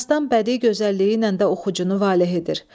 Dastan bədii gözəlliyi ilə də oxucunu valeh edir.